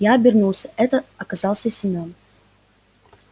я обернулся это оказался семён